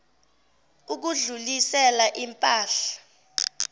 ukudlulisela im pahla